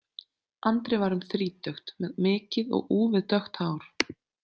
Andri var um þrítugt, með mikið og úfið dökkt hár.